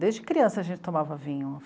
Desde criança a gente tomava vinho.